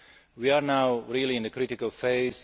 We are now really in a critical phase.